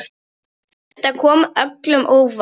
Þetta kom öllum á óvart.